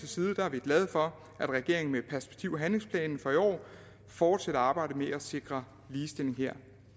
side er vi glade for at regeringen med perspektiv og handlingsplanen for i år fortsætter arbejdet med at sikre ligestilling her